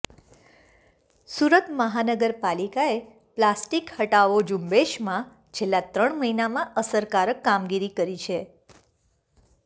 સુરત મહાનગરપાલિકાએ પ્લાસ્ટિક હટાવો ઝુંબેશમાં છેલ્લા ત્રણ મહિનામાં અસરકારક કામગીરી કરી છે